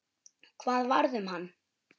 Hvað varð um hann?